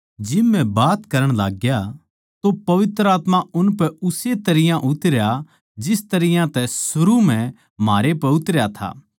जिब म्ह बात करण लाग्या तो पवित्र आत्मा उनपै उस्से तरियां तै उतरया जिस तरियां तै सरू म्ह म्हारै पै उतरया था